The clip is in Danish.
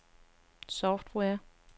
software